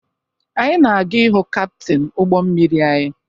Anyị na-aga ịhụ kaptịn ụgbọ mmiri anyị